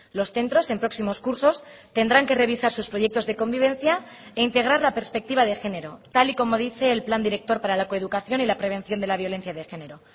los centros en próximos cursos tendrán que revisar sus proyectos de convivencia e integrar la perspectiva de género tal y como dice el plan director para la coeducación y la prevención de la violencia de género